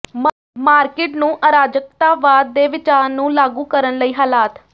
market ਨੂੰ ਅਰਾਜਕਤਾਵਾਦ ਦੇ ਵਿਚਾਰ ਨੂੰ ਲਾਗੂ ਕਰਨ ਲਈ ਹਾਲਾਤ